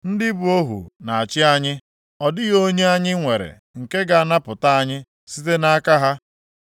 Ndị bụ ohu na-achị anyị. Ọ dịghị onye anyị nwere nke ga-anapụta anyị site nʼaka ha.